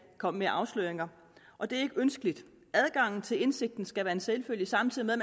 komme med afsløringer og det er ikke ønskeligt adgangen til indsigten skal være en selvfølge samtidig med